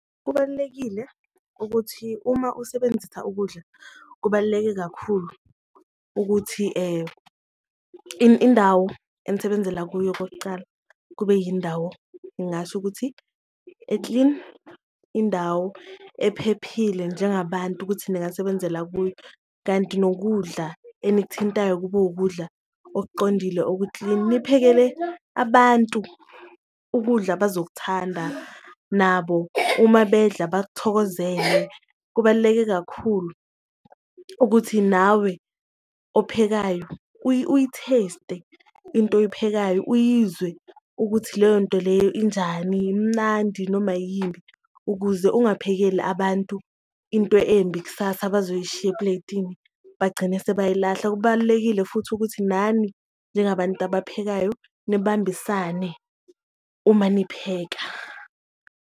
Kubalulekile ukuthi uma usebenzisa ukudla kubaluleke kakhulu ukuthi indawo enisebenzela kuyo okokucala kube yindawo ngingasho ukuthi e-clean, indawo ephephile njengabantu ukuthi ningasebenzela kuyo. Kanti nokudla enikuthintayo kube ukudla okuqondile oku-clean, niphekele abantu ukudla abazokuthanda nabo uma bedla bakuthokozele. Kubaluleke kakhulu ukuthi nawe ophekayo uyi-taste-e into oyiphekayo uyizwe ukuthi leyonto leyo injani, imnandi noma yimbi ukuze ungaphekeli abantu into embi kusasa bazoyishiya epuleyitini, bagcine sebayilahla. Kubalulekile futhi ukuthi nani njengabantu abaphekayo nibambisane uma nipheka.